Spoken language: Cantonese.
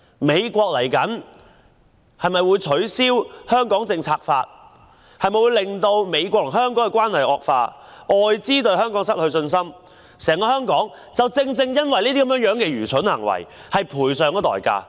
美國未來是否會取消《香港政策法》，美國與香港的關係會否惡化，外資會否對香港失去信心，整個香港會否因這愚蠢行為而付上代價？